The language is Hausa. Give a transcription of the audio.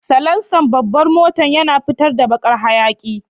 Salansan babbar motan yana fitar da baƙar hayaƙi.